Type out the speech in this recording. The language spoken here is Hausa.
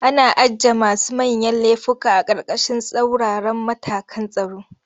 Ana ajiye masu manyan lefuka a ƙarƙashin tsauraran matakan tsaro.